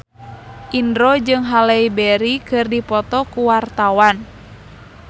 Indro jeung Halle Berry keur dipoto ku wartawan